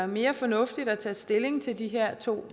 mere fornuftigt at tage stilling til de her to